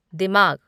दिमाग